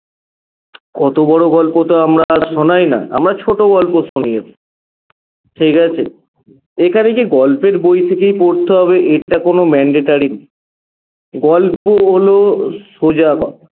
অত বড় গল্প তো আমরা আর শোনাই না আমরা ছোট গল্প শুনিয়ে ঠিকাছে এখানে যে গল্পের বই থেকেই পড়তে হবে এটা কোনো mandatory না গল্প হল সোজা কথা